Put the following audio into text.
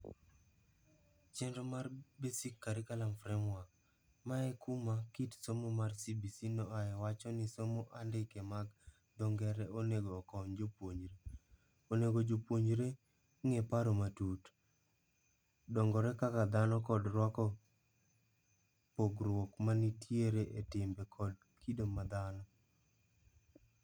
Chenro mar Basic Curriculum Framework, ma ekuma kit somo mar CBC noae wacho ni somo andike mag dho ngere onego okony jopuonjre. Onego jopuonjre ng'e paro matut, dongore kaka dhano kod rwako kpogruok manitiere e timbe kod kido ma dhano.